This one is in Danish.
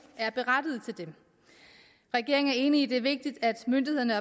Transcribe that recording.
er berettiget til dem regeringen er enig i at det er vigtigt at myndighederne